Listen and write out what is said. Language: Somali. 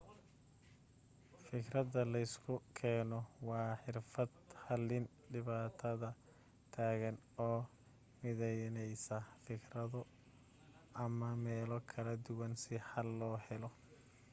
fikirada leysku keeno waa xirfad xalin dhibaatada taagan oo mideynesa fikiro ama meelo kala duwan si xal loo helo